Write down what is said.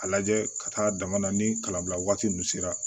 A lajɛ ka taa dama na ni kalan bila waati min sera